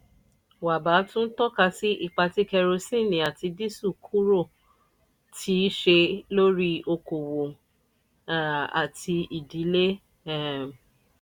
wabba tún tọ́ka sí ipa tí kerosene àti dísẹ́ẹ̀lì kúrò ti ṣe lórí okòwò um àti ìdílé. um